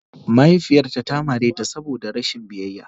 Mahaifiyarta ta mare ta saboda rashin biyayya.